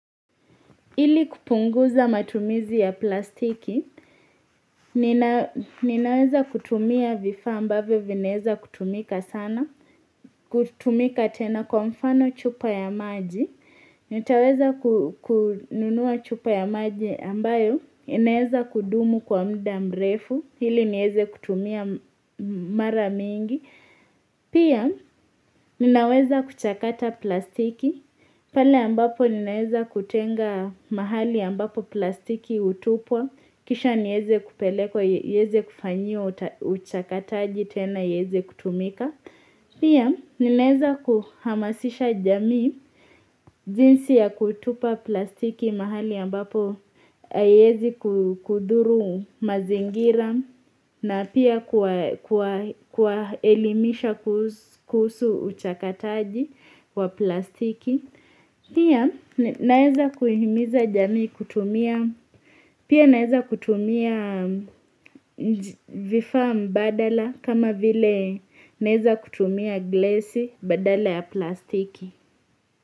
Ili kupunguza matumizi ya plastiki, ninaweza kutumia vifa ambavyo vinaweza kutumika sana, kutumika tena kwa mfano chupa ya maji, nitaweza kununua chupa ya maji ambayo, inaweza kudumu kwa mda mrefu, hili nieze kutumia mara mingi. Pia ninaweza kuchakata plastiki pale ambapo ninaweza kutenga mahali ambapo plastiki hutupwa Kisha nieze kupeleka, iweze kufanyiwa, uchakataji tena, ieze kutumika Pia ninaweza kuhamasisha jamii jinsi ya kutupa plastiki mahali ambapo Aiwezi kudhuru mazingira na pia kuwa elimisha kusu uchakataji wa plastiki Pia naeza kuhimiza jami kutumia Pia naeza kutumia vifaa mbadala kama vile naeza kutumia glasi badala ya plastiki.